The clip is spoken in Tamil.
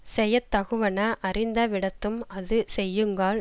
செயத்தகுவன அறிந்த விடத்தும் அது செய்யுங்கால்